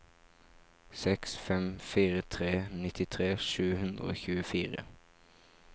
seks fem fire tre nittitre sju hundre og tjuefire